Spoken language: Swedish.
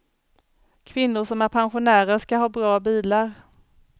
Kvinnor som är pensionärer ska ha bra bilar.